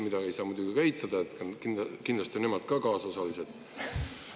Seda ei saa muidugi eitada, kindlasti on nemad ka kaasosalised.